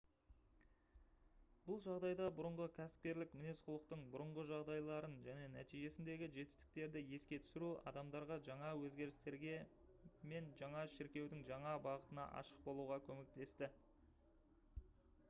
бұл жағдайда бұрынғы кәсіпкерлік мінез-құлықтың бұрынғы жағдайларын және нәтижесіндегі жетістіктерді еске түсіру адамдарға жаңа өзгерістерге мен жаңа шіркеудің жаңа бағытына ашық болуға көмектесті